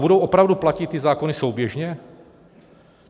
Budou opravdu platit ty zákony souběžně?